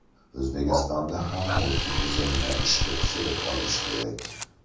O‘zbekistonda ham multi-tizimni ishga tushirib olish kerak.